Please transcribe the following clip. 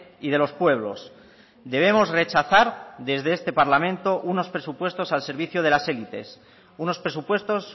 y de los pueblos debemos rechazar desde este parlamento unos presupuestos al servicio de las élites unos presupuestos